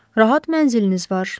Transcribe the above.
Rahat mənziliniz var.